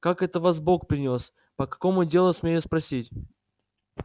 как это вас бог принёс по какому делу смею спросить